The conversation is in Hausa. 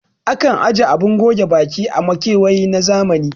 Akan aje abun goge baki a makewayi na zamani